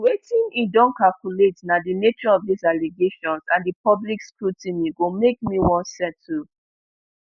wetin e don calculate na di nature of dis allegations and di public scrutiny go make me wan settle